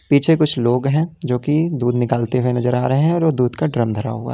पीछे कुछ लोग हैं जो की दूध निकालते हुए नजर आ रहे हैं और वो दूध का ड्रम धरा हुआ है।